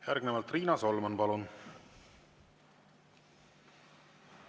Järgnevalt Riina Solman, palun!